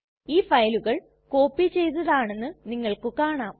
ഈ ഫയലുകൾ കോപ്പി ചെയ്തതാണെന്ന് നിങ്ങൾക്ക് കാണാം